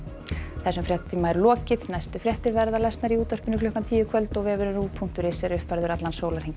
þessum fréttatíma er lokið næstu fréttir verða í útvarpi klukkan tíu í kvöld og vefurinn punktur is er uppfærður allan sólarhringinn